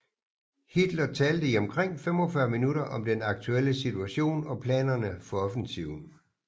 Hitler talte i omkring 45 minutter om den aktuelle situation og planerne for offensiven